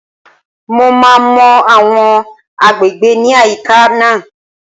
Mo máa mọ àwọn agbègbè ní àyíká náà